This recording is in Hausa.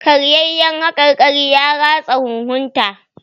Karyayyaen haƙarƙarin ya ratsa huhun ta.